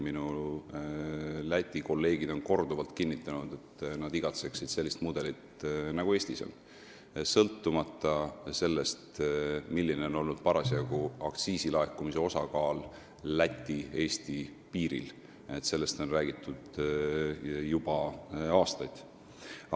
Minu Läti kolleegid on korduvalt kinnitanud, et nad igatsevad sellist mudelit, nagu Eestis on, sõltumata sellest, milline on parasjagu aktsiisilaekumise osakaal Läti-Eesti piiril, millest on räägitud juba aastaid.